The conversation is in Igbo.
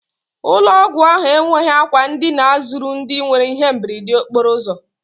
Ụlọ ọgwụ ahụ enweghị àkwà ndina zuru ndị nwere ihe mberede okporo ụzọ.